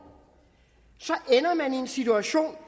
ender man i en situation